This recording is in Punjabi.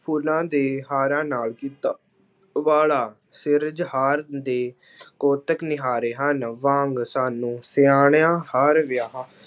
ਫੁੱਲਾਂ ਦੇ ਹਾਰਾਂ ਨਾਲ ਕੀਤਾ, ਉਬਾਲਾ ਸਿਰਜਹਾਰ ਦੇ ਕੋਤਕ ਨਿਆਰੇ ਹਨ, ਵਾਂਗ ਸਾਨੂੰ ਸਿਆਣਿਆ ਹਰ